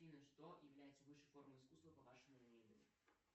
афина что является высшей формой искусства по вашему мнению